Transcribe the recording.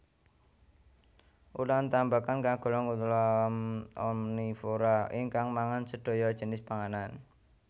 Ulam tambakan kagolong ulam omnivora ingkang mangan sedaya jinis panganan